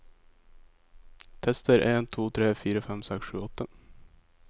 Tester en to tre fire fem seks sju åtte